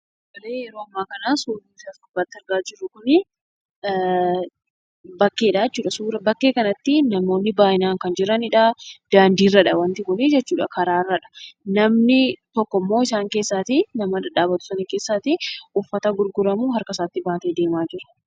Kan suuraa ishee as gubbaatti argaa jirru kun bakkeedhaa jechuudha bakkee kanatti namoonni baay'inaan kan jiranidha daandiirradha wanti kun karaarradha. Namni tokkommoo isaan keessaa nama dhadhaabatu sana keessaa uffata gurguramu harka isaatti baatee deemaa jira.